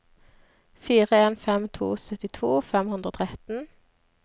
fire en fem to syttito fem hundre og tretten